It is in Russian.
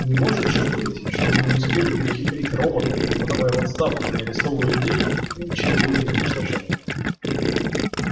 не может же быть чтобы мы не сумели перехитрить робота не подавая в отставку не арестовывая людей и ничего не уничтожая